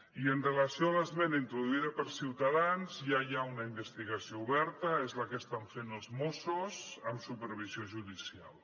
i amb relació a l’esmena introduïda per ciutadans ja hi ha una investigació oberta és la que estan fent els mossos amb supervisió judicial